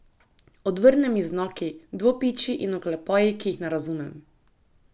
Odvrne mi z znaki, dvopičji in oklepaji, ki jih ne razumem.